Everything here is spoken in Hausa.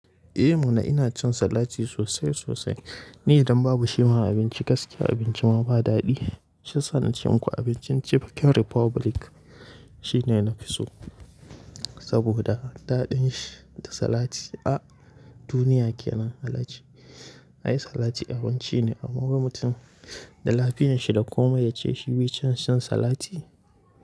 Eh Muna ina cin salati sosai sosai. Ni idan babu shi ma abinci gaske abinci ma ba daɗi. Shissa na ce muku abincin cikin Republic shine na fi so saboda daɗin shi da salati a duniya ke nan. Salati abinci ne a wani mutum da lafiya shi da komai da ce shi ya yi shan salati.